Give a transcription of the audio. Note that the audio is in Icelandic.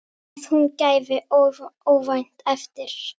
Að hún gefi óvænt eftir.